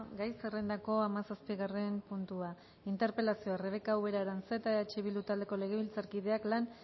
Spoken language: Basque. gai zerrendako hamazazpigarren puntua interpelazioa rebeka ubera aranzeta eh bildu taldeko legebiltzarkideak lan